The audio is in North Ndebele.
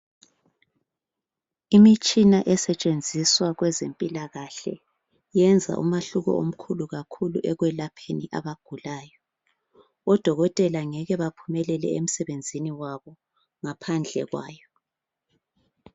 Imitshina esetshenziswa kwezempilakahle yenza umahluko omkhulu kakhulu ekwelapheni abagulayo. Odokotela ngeke baphumelele emsebenzini wabo ngaphandle kwayo.